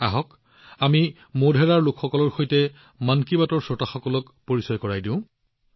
আহক আমি মোধেৰাৰ লোকসকলৰ সৈতে মন কী বাতৰ শ্ৰোতাসকলকো পৰিচয় কৰাই দিওঁ